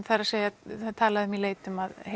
það er talað um í leitum að